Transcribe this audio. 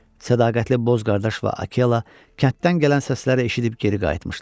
Sədaqətli Bozqardaş və Akela kənddən gələn səsləri eşidib geri qayıtmışdılar.